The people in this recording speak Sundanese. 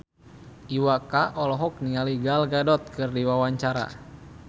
Iwa K olohok ningali Gal Gadot keur diwawancara